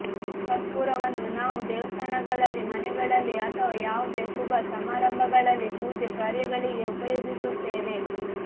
ಕರ್ಪೂರವನ್ನು ನಾವು ದೇವಸ್ಥಾನಗಳಲ್ಲಿ ಮನೆಗಳಲ್ಲಿ ಅಥವಾ ಯಾವುದೇ ಶುಭ ಸಮಾರಂಭಗಳಲ್ಲಿ ಪೂಜೆ ಕಾರ್ಯಗಳಿಗೆ ಉಪಯೋಗಿಸುತ್ತೇವೆ